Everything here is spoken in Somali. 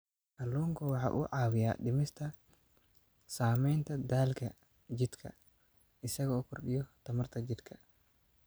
Kalluunku waxa uu caawiyaa dhimista saamaynta daalka jidhka isaga oo kordhiya tamarta jidhka.